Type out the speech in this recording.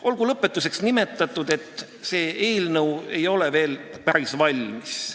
Olgu lõpetuseks nimetatud, et see eelnõu ei ole veel päris valmis.